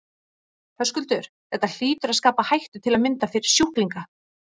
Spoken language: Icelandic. Höskuldur: Þetta hlýtur að skapa hættu til að mynda fyrir sjúklinga?